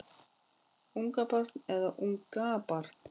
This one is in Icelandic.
Ungbarn eða ungabarn?